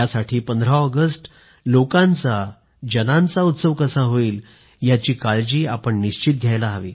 15 August लोकांचा जनांचा उत्सव कसा होईल याची काळजी निश्चित घ्या